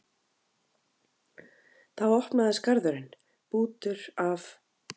Þá opnaðist garðurinn, bútur af